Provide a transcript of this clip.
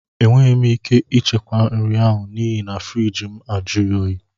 Enweghị m ike ichekwa nri ahụ n'ihi na friiji mụ ajughi oyi